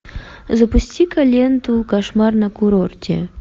запусти ка ленту кошмар на курорте